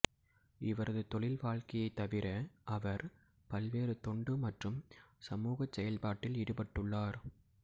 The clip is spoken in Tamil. இவரது தொழில் வாழ்க்கையைத் தவிர அவர் பல்வேறு தொண்டு மற்றும் சமூகச் செயல்பாட்டில் ஈடுபட்டுள்ளார்